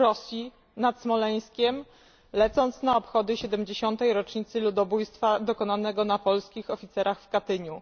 w Rosji, nad Smoleńskiem, lecąc na obchody 70 rocznicy ludobójstwa dokonanego na polskich oficerach w Katyniu.